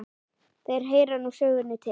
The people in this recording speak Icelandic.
Þeir heyra nú sögunni til.